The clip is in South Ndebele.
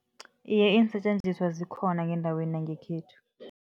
Iye, iinsetjenziswa zikhona ngendaweni yangekhethu.